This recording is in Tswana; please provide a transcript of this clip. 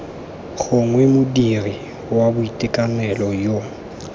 gongwe modiri wa boitekanelo yo